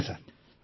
ଆଜ୍ଞା ସାର୍